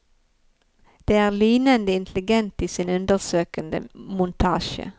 Den er lynende intelligent i sin undersøkende montasje.